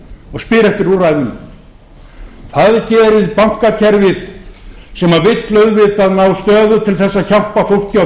og spyr eftir úrræðum það gerir bankakerfið sem vill auðvitað ná stöðu til þess að hjálpa fólki og